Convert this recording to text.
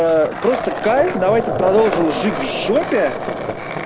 просто кайф давайте продолжим жить в жопе